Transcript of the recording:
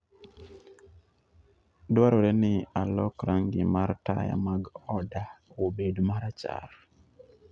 Dwarore ni alok rangi mar taya mag oda obed marachar.